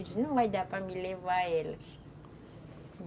Eu disse, não vai dar para me levar elas.